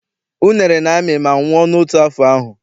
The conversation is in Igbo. Unere na-amị ma nwụọ n'otu afọ ahụ.